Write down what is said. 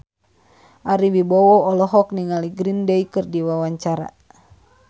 Ari Wibowo olohok ningali Green Day keur diwawancara